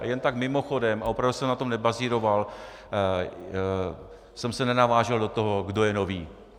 A jen tak mimochodem, a opravdu jsem na tom nebazíroval, jsem se nenavážel do toho, kdo je nový.